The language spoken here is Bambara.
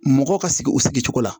Mɔgɔ ka sigi o sigi cogo la